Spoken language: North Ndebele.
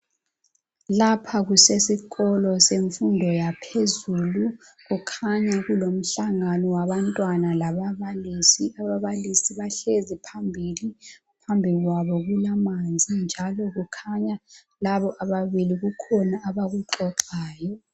Lapha kusesikolo semfundo yaphezulu, kukhanya kulomhlangano wabantwana lababalisi. Ababalisi bahlezi phambili, phambikwabo kulamanzi njalo kukhanya labo ababili kukhona abakuxoxayo.